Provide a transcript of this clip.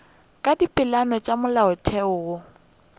ka dipeelano tša molaotheo wo